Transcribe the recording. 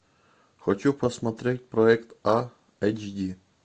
хочу посмотреть проект а эйч ди